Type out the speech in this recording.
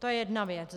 To je jedna věc.